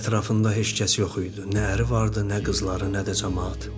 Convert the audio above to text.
Elə bil ətrafında heç kəs yox idi, nə əri vardı, nə qızları, nə də camaat.